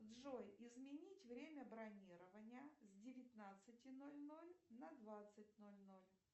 джой изменить время бронирования с девятнадцати ноль ноль на двадцать ноль ноль